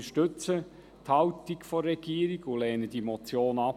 Wir stützen die Haltung der Regierung und lehnen diese Motion ab.